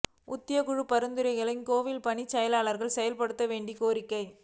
ஊதியக் குழு பரிந்துரைகளை கோயில் பணியாளர்களுக்கும் செயல்படுத்த வேண்டி கோரிக்கை